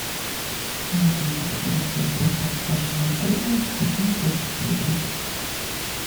можно ли посещать зоопарк вашего отеля с детьми до пяти лет